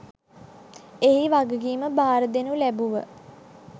එහි වගකීම බාරදෙනු ලැබුව